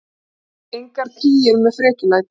Engar kríur með frekjulæti.